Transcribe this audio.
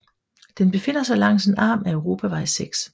Den befinder sig langs en arm af europavej 6